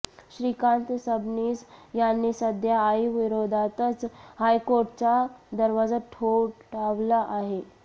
श्रीकांत सबनीस यांनी सध्या आईविरोधातच हायकोर्टाचा दरवाजा ठोठावला आहे